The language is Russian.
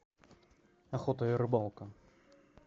охота и рыбалка